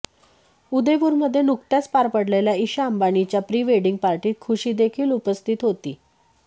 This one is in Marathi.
उदयपुरमध्ये नुकत्याच पार पडलेल्या ईशा अंबानीच्या प्री वेडिंग पार्टीत खुशी देखील उपस्थित होती